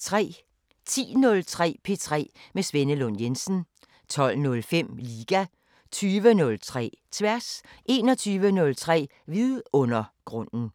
10:03: P3 med Svenne Lund Jensen 12:05: Liga 20:03: Tværs 21:03: Vidundergrunden